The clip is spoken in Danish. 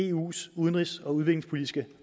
eus udenrigs og udviklingspolitiske